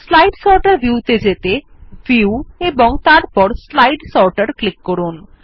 slide sorter view ত়ে যেতে view এবং তারপর স্লাইড সর্টার ক্লিক করুন